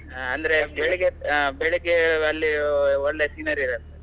ಅಂದ್ರೆ ಬೆಳಿಗ್ಗೆ ಅಹ್ ಬೆಳಿಗ್ಗೆ ಅಲ್ಲಿ ಒಳ್ಳೆ scenery ಇರತ್ತೆ.